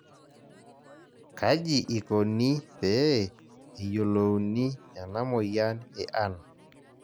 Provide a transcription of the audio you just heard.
Kaji ikoni pee eyiolouni ena amoyian e an?